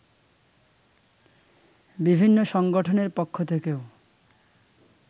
বিভিন্ন সংগঠনের পক্ষ থেকেও